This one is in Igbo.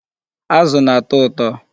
Azụ na-atọ ụtọ.